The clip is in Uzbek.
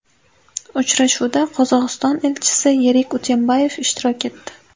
Uchrashuvda Qozog‘iston elchisi Yerik Utembayev ishtirok etdi.